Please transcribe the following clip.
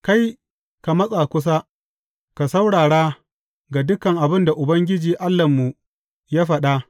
Kai, ka matsa kusa, ka saurara ga dukan abin da Ubangiji Allahnmu ya faɗa.